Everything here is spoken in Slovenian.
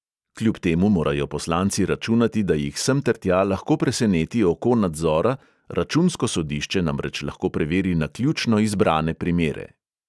Kljub temu morajo poslanci računati, da jih semtertja lahko preseneti oko nadzora, računsko sodišče namreč lahko preveri naključno izbrane primere.